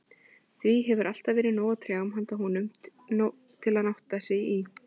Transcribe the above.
Því hefur alltaf verið nóg af trjám handa honum, til að nátta sig í.